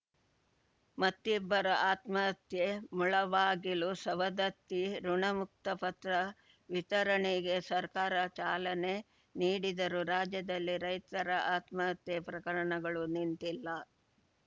ಮತ್ತಿಬ್ಬರು ಆತ್ಮಹತ್ಯೆ ಮುಳಬಾಗಿಲುಸವದತ್ತಿ ಋಣಮುಕ್ತ ಪತ್ರ ವಿತರಣೆಗೆ ಸರ್ಕಾರ ಚಾಲನೆ ನೀಡಿದರೂ ರಾಜ್ಯದಲ್ಲಿ ರೈತರ ಆತ್ಮಹತ್ಯೆ ಪ್ರಕರಣಗಳು ನಿಂತಿಲ್ಲ